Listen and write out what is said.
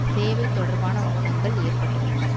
சேவைத்தொடர்பான ஊனங்கள் ஏற்பட்டுள்ளன